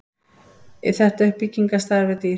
þetta uppbyggingarstarf er dýrt